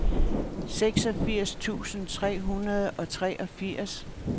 seksogfirs tusind tre hundrede og treogfirs